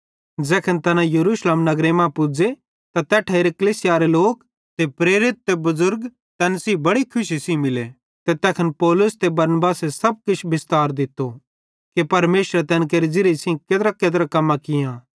ज़ैखन तैना यरूशलेम नगरे मां पुज़े त तैठेरी कलीसियारे लोक ते प्रेरित ते बुज़ुर्ग तैन सेइं बेड़ि खुशी सेइं मिले ते तैखन पौलुस ते बरनबासे सब किछ बिस्तार दित्तो कि परमेशरे तैन केरे ज़िरिये सेइं केत्राकेत्रा कम्मां कियां